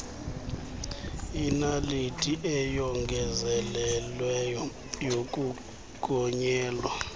inaliti eyongezelelweyo yokugonyela